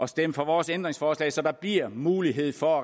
stemme for vores ændringsforslag så der bliver mulighed for